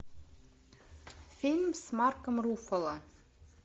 фильм с марком руффало